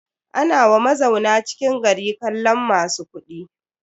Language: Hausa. Ana wa mazauna cikin gari kallon masu kuɗi.